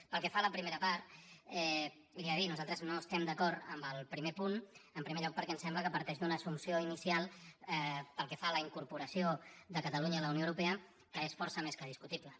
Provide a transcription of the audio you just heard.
pel que fa a la primera part li he de dir nosaltres no estem d’acord amb el primer punt en primer lloc perquè ens sembla que parteix d’una assumpció inicial pel que fa a la incorporació de catalunya a la unió europea que és força més que discutible